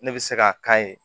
Ne bɛ se k'a k'a ye